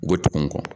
U bɛ tugun